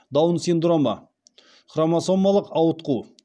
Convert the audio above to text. даун синдромы хромосомалық ауытқу